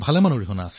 মই কথাটো গম পালো